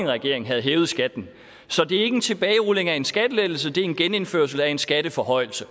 regering havde hævet skatten så det er ikke en tilbagerulning af en skattelettelse det er en genindførelse af en skatteforhøjelse